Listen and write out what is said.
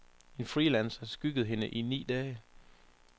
En freelancer skyggede hende i ni dage.